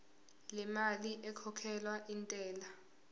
lemali ekhokhelwa intela